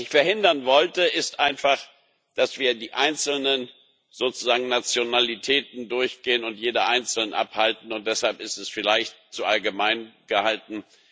Was ich verhindern wollte, ist einfach, dass wir sozusagen die einzelnen Nationalitäten durchgehen und jede einzeln abhalten, und deshalb ist es vielleicht zu allgemein gehalten.